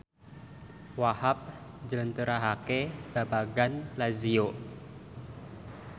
Wahhab njlentrehake babagan Lazio